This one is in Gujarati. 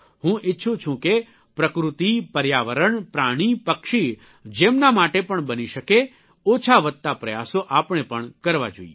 હું ઇચ્છું છું કે પ્રકૃતિ પર્યાવરણ પ્રાણી પક્ષી જેમના માટે પણ બની શકે ઓછા વત્તા પ્રયાસો આપણે પણ કરવા જોઇએ